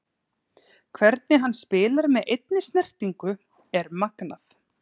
Hvernig hann spilar með einni snertingu er magnað.